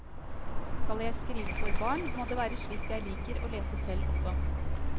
Skal jeg skrive for barn, må det være slikt jeg liker å lese selv også.